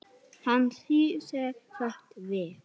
Hann snýr sér snöggt við.